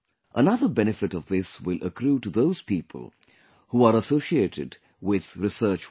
Another benefit of this will accrue to those people, who are associated with research work